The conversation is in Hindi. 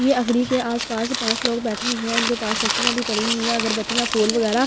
ये अगरी के आसपास पांच लोग बैठे हुए हैं इनके पास लकड़ियां भी पड़ी हुई है अगरबत्तियां फूल वगैरह--